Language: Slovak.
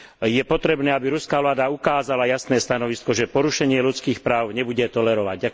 Je potrebné, aby ruská vláda ukázala jasné stanovisko, že porušenie ľudských práv nebude tolerovať.